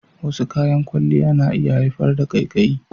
Wasu kayan kwalliya na iya haifar da ƙaiƙayi.